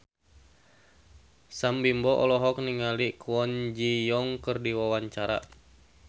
Sam Bimbo olohok ningali Kwon Ji Yong keur diwawancara